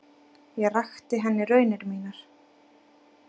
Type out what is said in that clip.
Ég rakti henni raunir mínar.